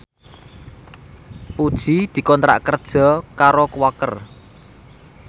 Puji dikontrak kerja karo Quaker